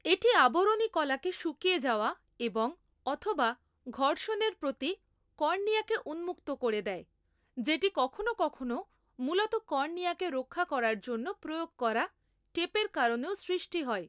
এটি আবরণী কলাকে শুকিয়ে যাওয়া এবং অথবা ঘর্ষণের প্রতি কর্নিয়াকে উন্মুক্ত করে দেয়, যেটি কখনও কখনও মূলত কর্নিয়াকে রক্ষা করার জন্য প্রয়োগ করা টেপের কারণেও সৃষ্ট হয়।